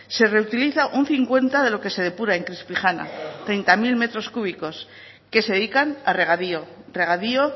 se reutiliza un cincuenta de lo que se depura en treinta mil metros cúbicos que se dedican a regadío regadío